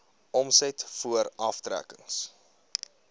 omset voor aftrekkings